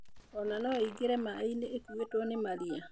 Ona no ĩingĩre maĩ-inĩ ikũito nĩ maria